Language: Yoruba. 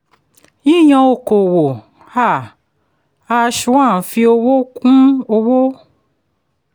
yíyàn okòwò a #1 fi owó kún òwò.